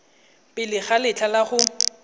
pele ga letlha la go